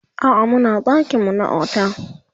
a'a Muna ɗakin mu na otel